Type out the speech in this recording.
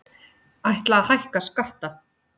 Ætla að hækka skatta